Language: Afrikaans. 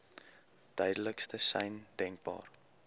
duidelikste sein denkbaar